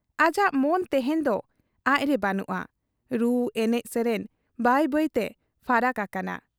ᱟᱡᱟᱜ ᱢᱚᱱ ᱛᱮᱦᱮᱧ ᱫᱚ ᱟᱡ ᱨᱮ ᱵᱟᱹᱱᱩᱜ ᱟ ᱾ ᱨᱩ ᱮᱱᱮᱡ ᱥᱮᱨᱮᱧ ᱵᱟᱹᱭ ᱵᱟᱹᱭᱛᱮ ᱯᱷᱟᱨᱟᱠ ᱟᱠᱟᱱᱟ ᱾